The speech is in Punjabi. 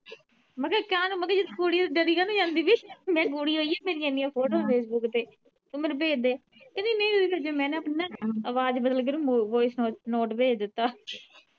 ਪੀ ਜੇ ਤੂੰ ਕੁੜੀ ਆ ਤੇ ਡਰੀ ਕਾਤੋ ਜਾਂਦੀ ਪਈ ਮੈ ਕੁੜੀ ਈਓ ਮੇਰੀਆਂ ਇਹਨੀਂ ਆ ਫੋਟੋਆ ਫੇਸਬੁੱਕ ਤੇ ਤੂੰ ਮੈਨੂੰ ਭੇਜਦੇ ਕਹਿੰਦੀ ਨਹੀਂ ਜੇ ਮੈ ਆਪਣੀ ਨਾ ਆਵਾਜ਼ ਬਦਲ ਕੇ ਤੇ voice note ਭੇਜ ਦਿੱਤਾ।